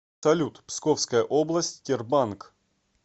салют псковская область тербанк